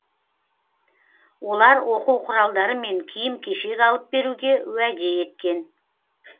олар оқу құралдары мен киім кешек алып беруге уәде еткен